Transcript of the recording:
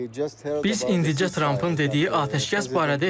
Biz indicə Trampın dediyi atəşkəs barədə eşitdik.